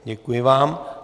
Děkuji vám.